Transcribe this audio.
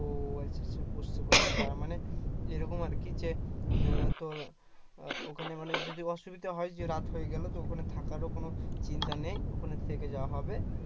ও আচ্ছা আচ্ছা বুজতে পারছি তারমানে এরকম আর কি যে তোর ওখানে মানে যদি অসুবিধা হয় যে রাত হয়ে গেল তো ওখানে থাকারও কোনো অসুবিধা নেই ওখানে থেকে যাওয়া হবে